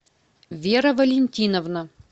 вера валентиновна